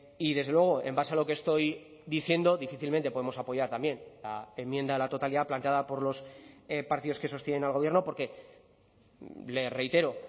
y desde luego en base a lo que estoy diciendo difícilmente podemos apoyar también la enmienda a la totalidad planteada por los partidos que sostienen al gobierno porque le reitero